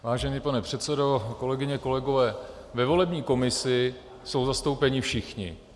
Vážený pane předsedo, kolegyně, kolegové, ve volební komisi jsou zastoupeni všichni.